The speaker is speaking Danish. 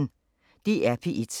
DR P1